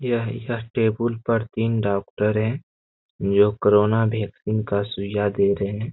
यह यह टेबुल पर तीन डॉक्टर है जो कोरोना वैक्सीन का सुईया दे रहे है।